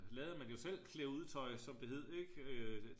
lavede man jo selv klæd ud tøj som det hed ik